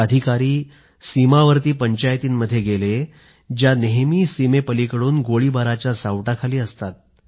हे अधिकारी अशा सीमावर्ती पंचायतींमध्येही गेले जिथे ज्या सीमेपलिकडून गोळीबाराची सतत भीती असते